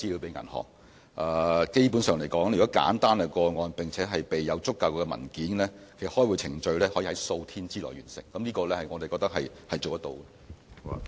基本上，如果是簡單的個案，並且備有足夠文件，開戶程序可在數天內完成，我們認為這方面是辦得到的。